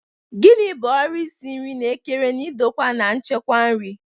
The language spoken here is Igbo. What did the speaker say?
Gini bu ọrụ isi nri na-ekere na ndokwa na nchekwa nri?